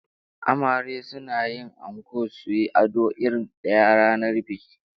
Amare suna yin anko suyi ado irin daya ranar biki